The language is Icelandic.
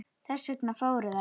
Þess vegna fóru þær.